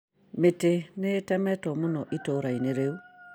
Mĩtĩ nĩ itemetwo mũno itũrainĩ rĩu